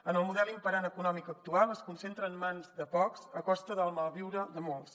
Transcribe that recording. en el model imperant econòmic actual es concentra en mans de pocs a costa del malviure de molts